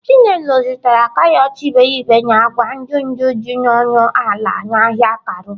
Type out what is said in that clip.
Chinelo zụtara karọt iberibe na agwa ndụ ndụ dị ọnụ ala n'ahịa Karu.